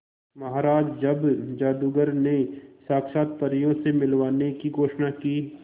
महाराज जब जादूगर ने साक्षात परियों से मिलवाने की घोषणा की